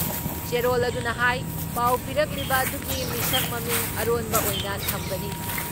ꯆꯦꯔꯣꯜ ꯑꯗꯨꯅ ꯍꯥꯏ ꯄꯥꯎ ꯄꯤꯔꯛꯂꯤꯕ ꯑꯗꯨꯒꯤ ꯃꯁꯛ ꯃꯃꯤꯡ ꯑꯔꯣꯟꯕ ꯑꯣꯏꯅ ꯊꯝꯒꯅꯤ ꯫